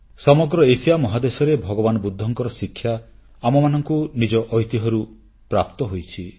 ସମଗ୍ର ଏସିଆ ମହାଦେଶରେ ଭଗବାନ ବୁଦ୍ଧଙ୍କର ଶିକ୍ଷା ଆମମାନଙ୍କୁ ନିଜ ଐତିହ୍ୟରୁ ପ୍ରାପ୍ତ ହୋଇଛି